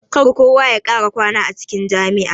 Kar kowa ya kara kwana a cikin jami'a.